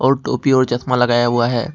और टोपी और चश्मा लगाया हुआ है।